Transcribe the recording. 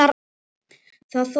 Það þótti mér vænt um